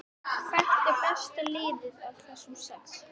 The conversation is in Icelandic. Hvert er besta liðið af þessum sex?